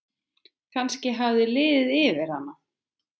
Kannski hafði liðið yfir hana.